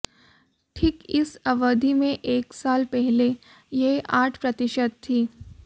ठीक इस अवधि में एक साल पहले यह आठ प्रतिशत थी